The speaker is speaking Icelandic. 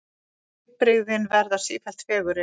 Litbrigðin verða sífellt fegurri.